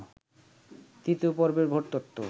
তৃতীয় পর্বের ভোটতথ্য